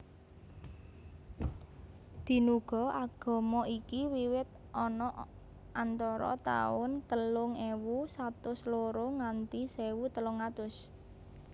Dinuga agama iki wiwit ana antara tahun telung ewu satus loro nganti sewu telung atus